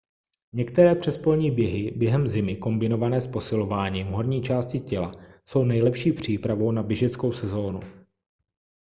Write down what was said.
některé přespolní běhy během zimy kombinované s posilováním horní části těla jsou nejlepší přípravou na běžeckou sezónu